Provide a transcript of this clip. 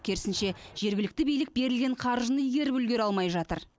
керісінше жергілікті билік берілген қаржыны игеріп үлгере алмай жатыр